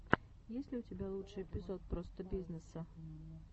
есть ли у тебя лучший эпизод простобизнесса